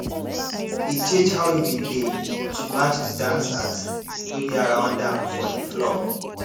e change how e bin dey to match de dancers wey dey around ahm for de floor